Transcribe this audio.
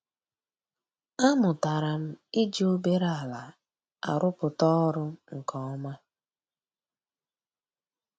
A mụtara m iji obere ala arụpụta ọrụ nke ọma